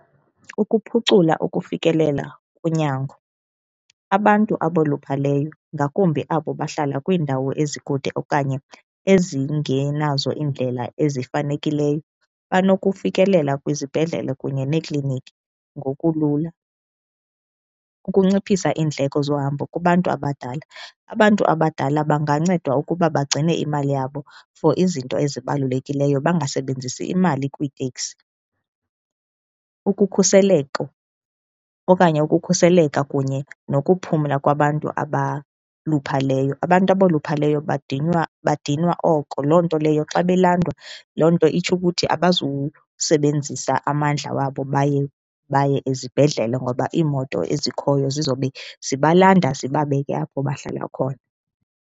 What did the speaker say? Ukuphucula ukufikelela kunyango, abantu aboluphaleyo ngakumbi abo bahlala kwiindawo ezikude okanye ezingenazo iindlela ezifanelekileyo, banokufikelela kwizibhedlele kunye neekliniki ngokulula. Ukunciphisa iindleko zohambo kubantu abadala, abantu abadala bangancedwa ukuba bagcine imali yabo for izinto ezibalulekileyo bangasebenzisi imali kwiiteksi. Ukukhuseleko okanye ukukhuseleka kunye nokuphumla kwabantu abaluphaleyo, abantu aboluphaleyo badinwa, badinwa oko loo nto leyo xa belandwa loo nto itsho ukuthi abazusebenzisa amandla wabo baye, baye ezibhedlele ngoba iimoto ezikhoyo zizobe zibalanda zibabeke apho bahlala khona.